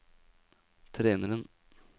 treneren